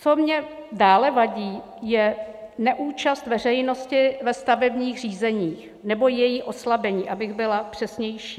Co mně dále vadí je neúčast veřejnosti ve stavebních řízení nebo její oslabení, abych byla přesnější.